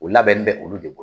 O labɛnnen bɛ olu de